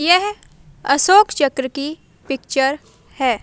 यह असोक चक्र की पिक्चर हैं।